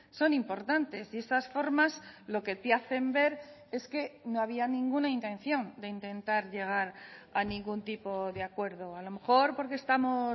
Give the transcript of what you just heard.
son importantes y esas formas lo que te hacen ver es que no había ninguna intención de intentar llegar a ningún tipo de acuerdo a lo mejor porque estamos